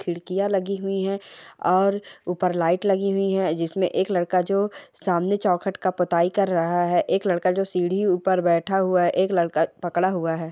खिड़कियां लगी हुयी है और ऊपर लाइट लगी हुयी है जिसमे एक लड़का जो सामने चौखट का पोताई कर रहा है एक लड़का जो सीढी ऊपर बैठा हुआ है एक लड़का पकड़ा हुआ है।